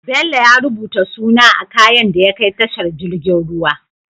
Bello ya rubuta suna a kayan da ya kai tashar jirgin ruwa